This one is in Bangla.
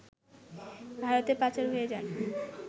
ভারতে পাচার হয়ে যান